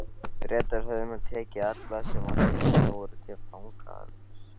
Bretar höfðu nú tekið alla, sem á skipinu voru, til fanga, alls